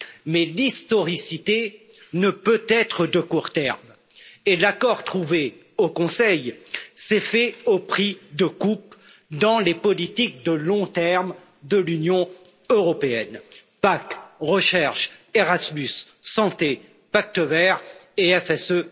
Mais l'historicité ne peut être de court terme, et l'accord trouvé au Conseil s'est fait au prix de coupes dans les politiques de long terme de l'Union européenne PAC, recherche, Erasmus, santé, pacte vert et FSE.